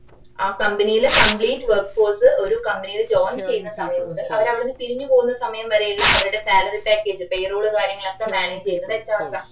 ആ company ലെ compleate work force ഒരു company ലെ join ചെയ്യുന്ന സമയം മുതൽ അവര് അവിടന്ന് പിരിഞ്ഞ് പോവുന്ന സമയം വരേയുള്ള അവരടെ salary package payroll കാര്യങ്ങളൊക്കെ manage ചെയ്യുന്നത്‌ HR ആ